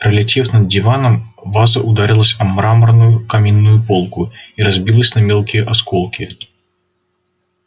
пролетев над диваном ваза ударилась о мраморную каминную полку и разбилась на мелкие осколки